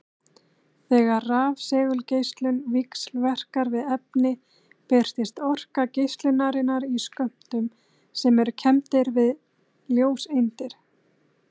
Þegar rafsegulgeislun víxlverkar við efni birtist orka geislunarinnar í skömmtum sem eru kenndir við ljóseindir.